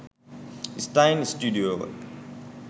ස්ටයින් ස්ටුඩියෝව